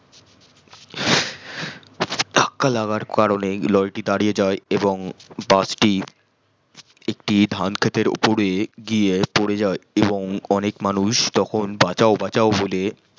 ধাক্কা লাগার কানেই লরি টি দারিয়ে যাই এবং বাস টি একটি ধান খেতের অপরে গিয়ে পরে যাই এবং অনেক মানুষ তখন বাঁচাও বাঁচাও বলে